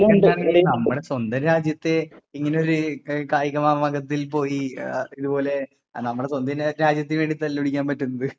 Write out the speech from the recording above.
അതിപ്പോ എന്താണെങ്കിലും നമ്മുടെ സ്വന്തം രാജ്യത്തെ ഇങ്ങനെയൊരു കായിക മാമാങ്കത്തിൽ പോയി എഹ് ഇത് പോലെ നമ്മുടെ സ്വന്തം രാജ്യ രാജ്യത്തിനു വേണ്ടി തല്ല് പിടിക്കാൻ പറ്റുന്നത്.